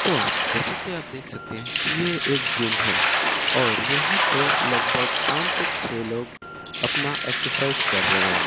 तो जैसा कि आप देख सकते है कि ये एक जिम है और यहां पे लगभग पांच से छे लोग अपना एक्सरसाइज कर रहे हैं।